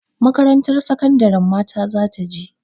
Makarantar sakandarin mata za ta je.